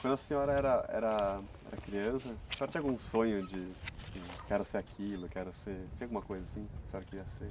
Quando a senhora era era eracriança, a senhora tinha algum sonho de assim... Quero ser aquilo, quero ser... Tinha alguma coisa assim que a senhora queria ser?